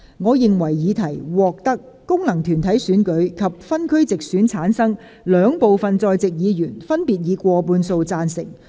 我認為議題獲得經由功能團體選舉產生及分區直接選舉產生的兩部分在席議員，分別以過半數贊成。